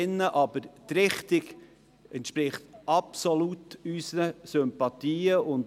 Aber die Richtung entspricht absolut unseren Sympathien.